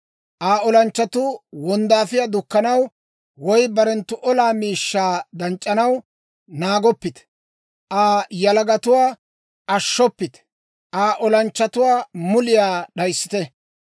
Aa olanchchatuu wonddaafiyaa dukkanaw woy barenttu olaa miishshaa danc'c'anaw naagoppite. Aa yalagatuwaa ashshoppite; Aa olanchchatuwaa muliyaa d'ayissite.